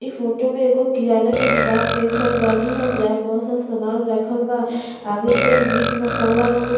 इ फोटो मे एगो किराना का दुकान देख रहल बानी हम। जहाँ बहुत सा सामान रखल बा। आगे मे मीट मसाला कुछ --